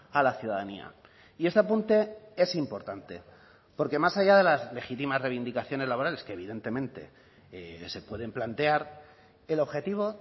a la ciudadanía y este apunte es importante porque más allá de las legítimas reivindicaciones laborales que evidentemente se pueden plantear el objetivo